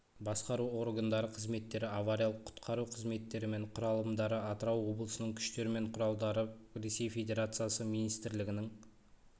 басқару органдары қызметтері авариялық-құтқару қызметтері мен құралымдары атырау облысының күштер мен құралдары ресей федерациясы министрлігінің